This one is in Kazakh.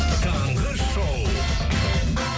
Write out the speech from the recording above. таңғы шоу